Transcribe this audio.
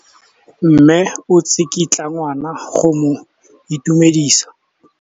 Mme o tsikitla ngwana go mo itumedisa.